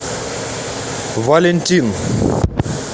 валентин